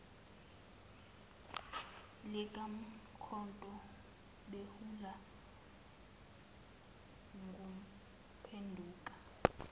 likamkhonto beholwa nguphenduka